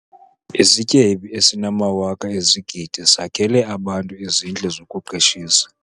Isityebi esinamawaka ezigidi sakhele abantu izindlu zokuqeshisa.